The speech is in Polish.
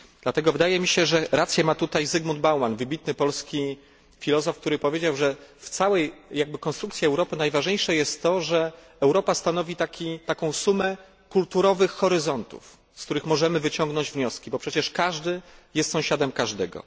Dlatego wydaje mi się, że rację ma tutaj Zygmunt Bauman, wybitny polski filozof, który powiedział, że w całej konstrukcji Europy najważniejsze jest to, że Europa stanowi sumę kulturowych horyzontów, z których możemy wyciągnąć wnioski, bo przecież każdy jest sąsiadem każdego.